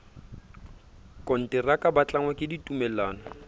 konteraka ba tlangwa ke ditumellano